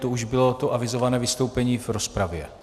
To už bylo to avizované vystoupení v rozpravě?